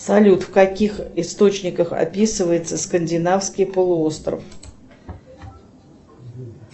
салют в каких источниках описывается скандинавский полуостров